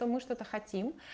то мы что-то хотим